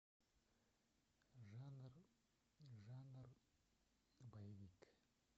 жанр жанр боевик